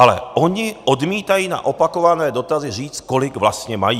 Ale oni odmítají na opakované dotazy říct, kolik vlastně mají.